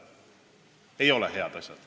Need ei ole head asjad.